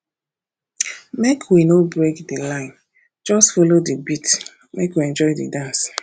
make we no break di line just folo di beat make you enjoy di dance